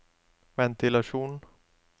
ventilasjon